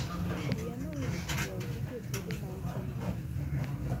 Wiya nowil nyiewo gige tedo mauchono ahinya.